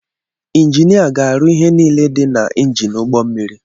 Enjini a, ga-arụ ihe niile dị na enjin ụgbọ mmiri